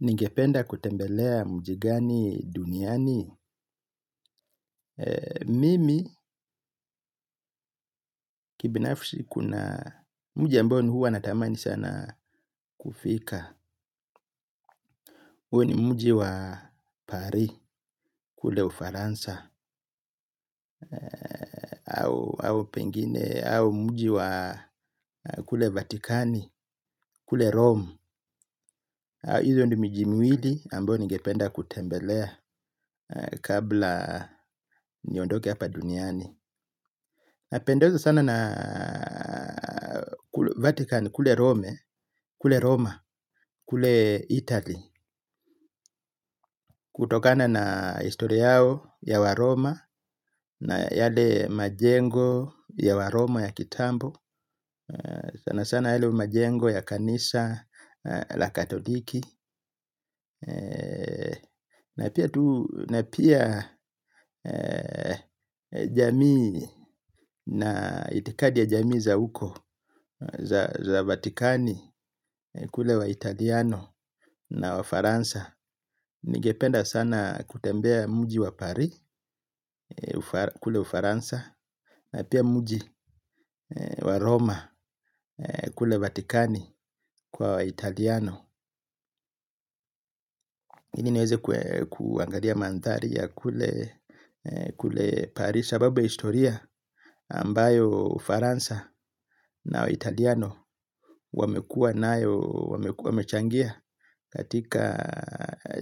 Ningependa kutembelea mji gani duniani. Mimi kibinafsi kuna mji ambao huwa natamani sana kufika. Huwa ni mji ambao huwa natamani sana kufika. Huo ni mji wa paris kule ufaransa, au pengine, au mji wa kule vatikani, kule rome. Hizo ni miji miwili ambayo ningependa kutembelea kabla niondoke hapa duniani. Kule Roma, kule Italy. Kutokana na historia yao ya waroma na yale majengo ya wa roma ya kitambo sana sana yale majengo ya kanisa la katoliki na pia jamii na itikadi ya jamii za huko za vatikani kule waItaliano na wafaransa. Ningependa sana kutembea mji wa Paris kule ufaransa na pia mji wa Roma kule Vatikani kwa waItaliano ili niweze kuangalia maandhari ya kule Paris sababu ya historia ambayo ufaransa na waItaliano wamekuwa nayo wamechangia katika